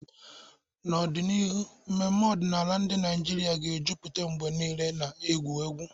N'ọdịnihu, mmemme ọdịnala ndị Naijiria ga-ejupụta mgbe niile na egwu egwu.